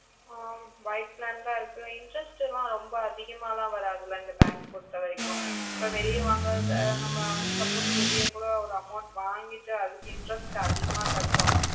ah by planned ஆஹ் இருக்கு interest ல ரொம்ப அதிகமலா வாரத்துல தா இந்த bank பொறுத்த வரைக்கும் எப்போ வெளிய வாங்குறத நம்ம suppose வெளிய கூட ஒரு amount வாங்கிட்டு அதுக்கு interest அதிகமா கட்டணும்